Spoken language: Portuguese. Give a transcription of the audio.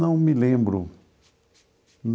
Não me lembro.